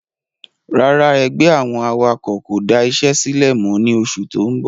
Rárá ẹgbẹ́ àwọn awakọ̀ kò da isé sílẹ̀ mọ ni oṣù tó ń bọ̀